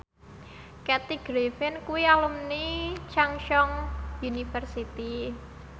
Kathy Griffin kuwi alumni Chungceong University